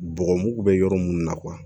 Bɔgɔmugu bɛ yɔrɔ minnu na